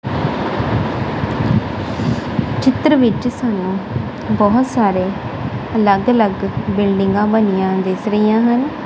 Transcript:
ਚਿੱਤਰ ਵਿੱਚ ਸਾਨੂੰ ਬਹੁਤ ਸਾਰੇ ਅਲੱਗ ਅਲੱਗ ਬਿਲਡਿੰਗਾਂ ਬਣੀਆਂ ਦਿਸ ਰਹੀਆਂ ਹਨ।